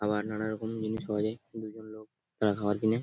আবার নানা রকম জিনিস পাওয়া যায় দু জন লোক তারা খাবার কিনে ।